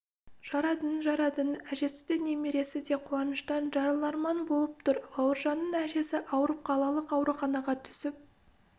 жарадың жарадың әжесі де немересі де қуаныштан жарыларман болып тұр бауыржанның әжесі ауырып қалалық ауруханаға түсіп